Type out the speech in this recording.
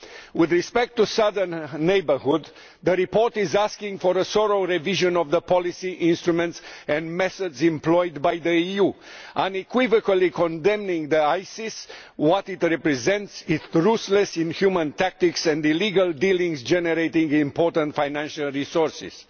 With respect to the southern neighbourhood, the report is asking for a thorough revision of the policy instruments and methods employed by the EU, unequivocally condemning ISIS, what it represents, its ruthless, inhuman tactics and illegal dealings generating important financial resources.